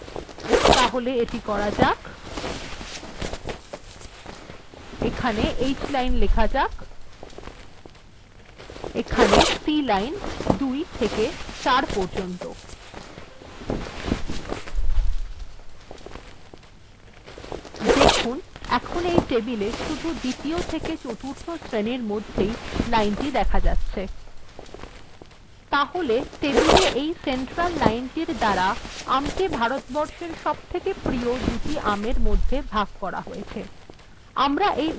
এখানে hline এখানে cline ২ থেকে ৪ পর্যন্ত দেখুন এখন এই টেবিলএ শুধু দ্বিতীয় এবং চতুর্থ শ্রেনীর মধ্যেই লাইন দেখা যাচ্ছে তাহলে এই টেবিলে এই সেন্ট্রাল লাইনটির দ্বারা আমকে ভারতবর্ষের সবথেকে দুটি প্রিয় আমের মধ্যে ভাগ করা হয়েছে